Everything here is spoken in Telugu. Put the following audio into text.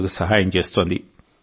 రోగులకు సహాయం చేస్తోంది